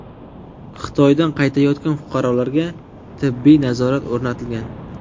Xitoydan qaytayotgan fuqarolarga tibbiy nazorat o‘rnatilgan.